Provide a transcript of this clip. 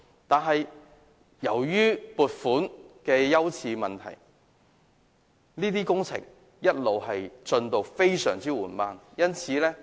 可是，由於撥款的優次問題，這些工程的進度一直非常緩慢。